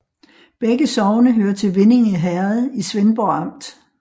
Begge sogne hørte til Vindinge Herred i Svendborg Amt